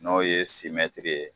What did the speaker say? N'ɔ ye simɛtiri ye